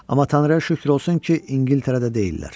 Amma Tanrıya şükür olsun ki, İngiltərədə deyillər.